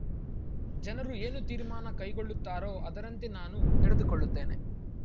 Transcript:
ಜನರು ಏನು ತೀರ್ಮಾನ ಕೈಗೊಳ್ಳುತ್ತಾರೋ ಅದರಂತೆ ನಾನು ನಡೆದುಕೊಳ್ಳುತ್ತೇನೆ